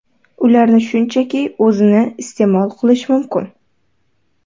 Ularni shunchaki o‘zini iste’mol qilish mumkin.